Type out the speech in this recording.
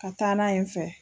Ka taa n'a ue n fɛ.